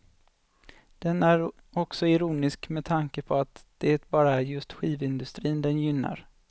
Den är också ironisk med tanke på att det bara är just skivindustrin den gynnar.